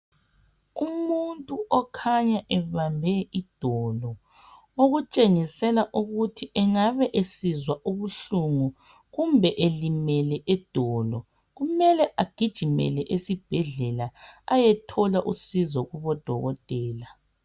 Umuntu okhanya ebambe idolo okutshengisela ukuthi engabe esizwa ubuhlungu kumbe elimele idolo kumele agijimele esibhedlela ayethola usizo kubodokotela.